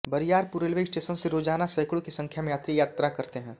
Bariyarpur railway station से रोजाना सैकड़ों की संख्या में यात्री यात्रा करते हैं